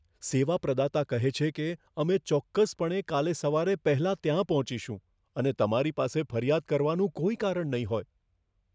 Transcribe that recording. સેવા પ્રદાતા કહે છે કે, અમે ચોક્કસપણે કાલે સવારે પહેલાં ત્યાં પહોંચીશું અને તમારી પાસે ફરિયાદ કરવાનું કોઈ કારણ નહીં હોય